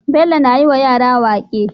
Bello na yi wa yara waƙe